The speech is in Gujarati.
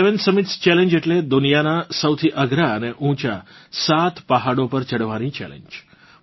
સેવેન સમિટ્સ ચેલેન્જ એટલે દુનિયાનાં સૌથી અઘરાં અને ઊંચા સાત પહાડો પર ચઢવાની ચેલેન્જ